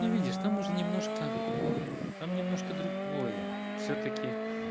но видишь там уже немножко там немножко другое всё-таки